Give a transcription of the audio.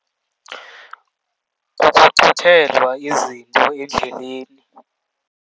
Kukuxuthelwa izinto endleleni.